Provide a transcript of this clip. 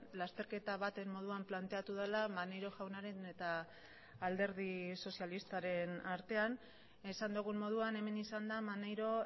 lasterketa baten moduan planteatu dela maneiro jaunaren eta alderdi sozialistaren artean esan dugun moduan hemen izan da maneiro